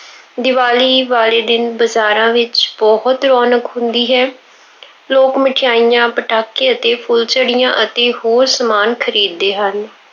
ਦੀਵਾਲੀ ਵਾਲੇ ਦਿਨ ਬਜ਼ਾਰਾਂ ਵਿੱਚ ਬਹੁਤ ਰੌਣਕ ਹੁੰਦੀ ਹੈ। ਲੋਕ ਮਠਿਆਈਆਂ, ਪਟਾਕੇ ਅਤੇ ਫੁੱਲਝੜੀਆਂ ਅਤੇ ਹੋਰ ਸਮਾਨ ਖਰੀਦਦੇ ਹਨ।